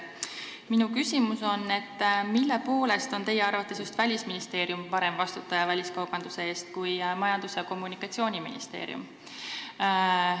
Minu küsimus on, mille poolest on teie arvates just Välisministeerium parem vastutaja väliskaubanduse eest kui Majandus- ja Kommunikatsiooniministeerium.